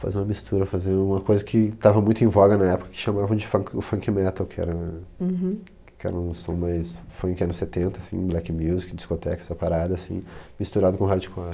Fazer uma mistura, fazer uma coisa que estava muito em voga na época, que chamavam de funk o funk metal, que era, que era um som mais funk anos setenta, assim, black music, discoteca, essa parada, assim, misturado com hardcore.